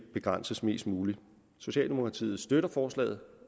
begrænses mest muligt socialdemokratiet støtter forslaget